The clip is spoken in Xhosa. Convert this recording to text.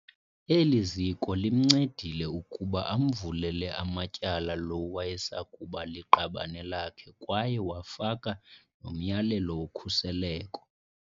Eli ziko limncedile ukuba amvulele amatyala lo wayesakuba liqabane lakhe kwaye wafaka nomyalelo wokhuseleko.